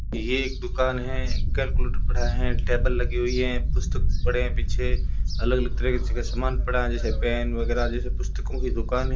ये एक दुकान है केलकुलेटर पड़ा है टेबल लगी हुई है पुस्तक पड़े है पीछे अलग अलग तरीके छ सामान पड़ा है जैसे पेन वगैरह जैसे पुस्तकों की दुकान है।